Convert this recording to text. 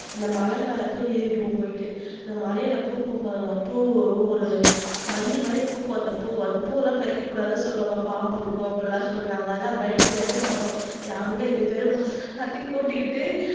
அந்த மலை மேல போய் ஏறிடுவோம் போயிட்டு இந்த மலையில பூக்கும் பாருங்க பூ ஒரு மல்லி மாதிரி பூக்கும் அந்த பூ அந்த பூவெல்லாம் பறிக்க கூடாதுன்னு சொல்லுவாங்க பாம்பு இருக்கும், அப்படி எல்லாம் சொல்றாங்க அதனால பயப்படவே மாட்டோம் அங்க எங்க தெரு பசங்க எல்லாரையும் கூட்டிக்கிட்டு